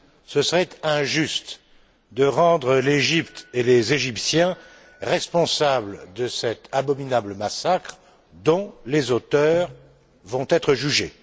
Ce serait injuste de rendre l'Égypte et les Égyptiens responsables de cet abominable massacre, dont les auteurs vont être jugés.